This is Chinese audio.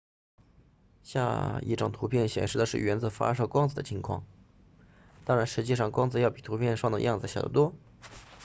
下一张图片显示的是原子发射光子的情况当然实际上光子要比图片上的样子小得多